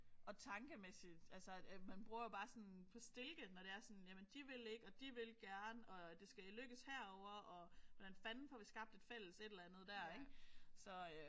Og tankemæssigt altså ja man bruger jo bare sådan på stilke når det er sådan. Jamen de vil ikke og de vil gerne og det skal lykkes herovre og hvordan fanden får vi skabt et fælles et eller andet der ik så